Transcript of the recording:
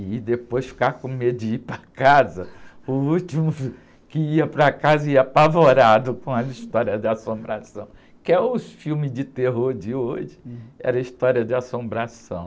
e depois ficar com medo de ir para casa, o último que ia para casa, ia apavorado com as histórias de assombração, que é o filme de terror de hoje, era a história de assombração.